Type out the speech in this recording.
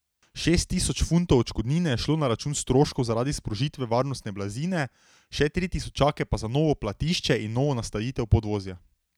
Šest tisoč funtov odškodnine je šlo na račun stroškov zaradi sprožitve varnostne blazine, še tri tisočake pa za novo platišče in novo nastavitev podvozja.